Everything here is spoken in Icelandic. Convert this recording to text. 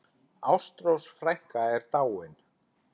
Ástrós frænka er dáin.